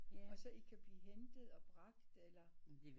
Og så i kan blive hentet eller bragt eller